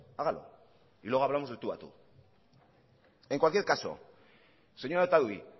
hágalo y luego hablamos de tú a tú en cualquier caso señora otadui